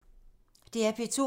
DR P2